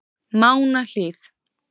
Mánahlíð